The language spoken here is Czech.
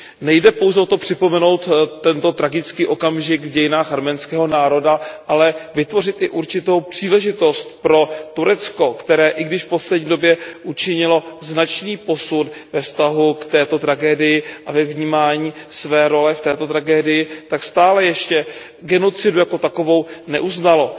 Nejde pouze o to připomenout tento tragický okamžik v dějinách arménského národa, ale vytvořit i určitou příležitost pro Turecko, které i když v poslední době učinilo značný posun ve vztahu k této tragédii a ve vnímání své role v této tragédii tak stále ještě genocidu jako takovou neuznalo.